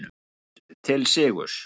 Hraut til sigurs